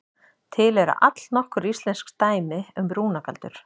Til eru allnokkur íslensk dæmi um rúnagaldur.